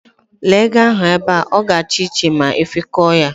Lee ego ahu be a! O ga-acha iche ma ifikoo yaa.